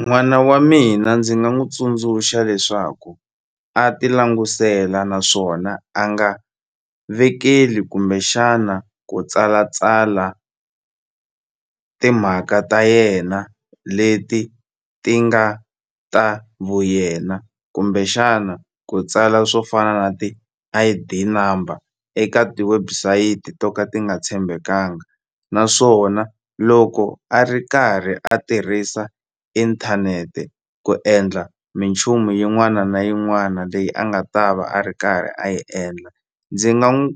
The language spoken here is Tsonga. N'wana wa mina ndzi nga n'wu tsundzuxa leswaku a ti languselela naswona a nga vekeli kumbexana ku tsalatsala timhaka ta yena leti ti nga ta vuyena kumbexana ku tsala swo fana na ti-I_D number eka ti-website to ka ti nga tshembekanga naswona loko a ri karhi a tirhisa inthanete ku endla minchumu yin'wana na yin'wana leyi a nga ta va a ri karhi a yi endla ndzi nga n'wi